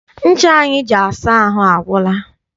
Ncha anyị ji asa ahụ agwụla.